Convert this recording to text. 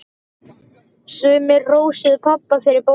Sumir hrósuðu pabba fyrir bókina.